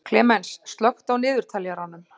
Klemens, slökktu á niðurteljaranum.